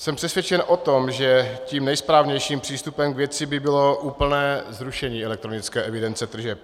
Jsem přesvědčen o tom, že tím nejsprávnějším přístupem k věci by bylo úplné zrušení elektronické evidence tržeb.